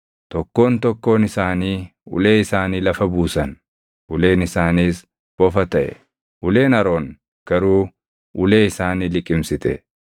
Tokkoon tokkoon isaanii ulee isaanii lafa buusan; uleen isaaniis bofa taʼe. Uleen Aroon garuu ulee isaanii liqimsite.